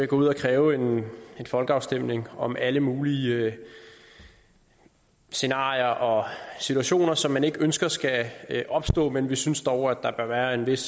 gå ud og kræve en folkeafstemning om alle mulige scenarier og situationer som man ikke ønsker skal opstå men vi synes dog at der bør være en vis